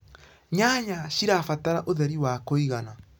nyanya cirabatara ũtheri wa kũigana